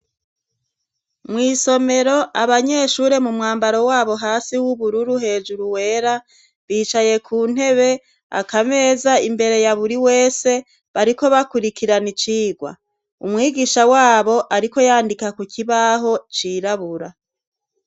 Mu isomero abanyeshure mu mwambaro wabo hasi w'ubururu hejuru wera bicaye ku ntebe akameza imbere ya buri wese bariko bakurikirana icigwa umwigisha wabo ariko yandika ku kibaho cirabura.